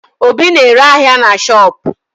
Obi na-ere ahịa na shopu